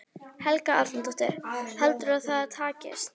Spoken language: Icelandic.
Helga Arnardóttir: Heldurðu að það takist?